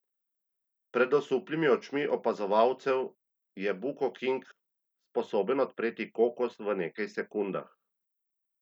Pred osuplimi očmi opazovalcev je Buko King sposoben odpreti kokos v nekaj sekundah.